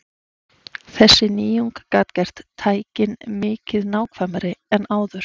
Þessi nýjung gat gert tækin mikið nákvæmari en áður.